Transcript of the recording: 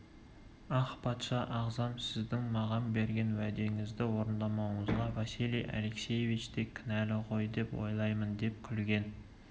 ах патша ағзам сіздің маған берген уәдеңізді орындамауыңызға василий алексеевич те кінәлі ғой деп ойлаймын деп күлген